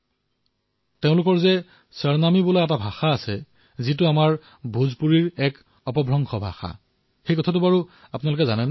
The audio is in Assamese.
আপোনালোকে জানে নে যে তাৰে চলিত ভাষা সৰনামী ভোজপুৰী ভাষাৰেই এটা অংশ